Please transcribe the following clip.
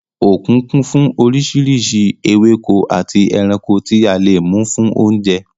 Òkun kún fún oríṣiríṣi ewéko àti ẹranko tí a lè mú fún oúnjẹ.